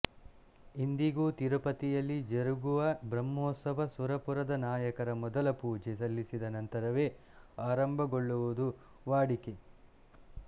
ಇಂದಿಗೂ ತಿರುಪತಿಯಲ್ಲಿ ಜರುಗುವ ಬ್ರಹ್ಮೋಸ್ತ್ಸವ ಸುರಪುರದ ನಾಯಕರ ಮೊದಲ ಪೂಜೆ ಸಲ್ಲಿಸಿದ ನಂತರವೇ ಆರಂಭಗೊಳ್ಳುವುದು ವಾಡಿಕೆ